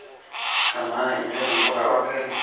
kamaa inyor impuka orgali